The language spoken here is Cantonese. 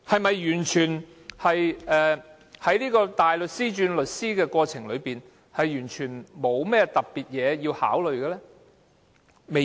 在大律師轉業為律師的過程中，是否完全沒有需要特別考慮的地方？